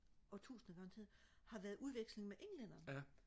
årtusinder garanteret har været udveksling med englændere